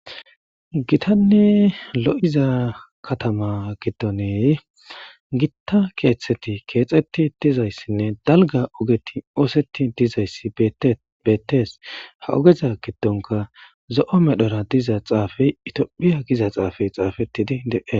Gitanni lo7iza katama gidoney gitta keeththeti keexetti dizayssinne dalga ogeti oosetti dizayssi beettees ha ogeza giddonka zo7o medhora diza xaafey itiophiya giza xaafey xaafettidi de7e